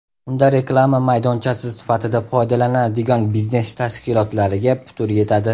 Unda reklama maydonchasi sifatida foydalanadigan biznes tashkilotlariga putur yetadi.